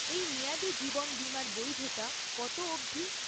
এই মেয়াদি জীবন বিমার বৈধতা কত অবধি?